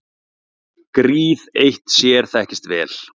Gríð eitt sér þekkist vel.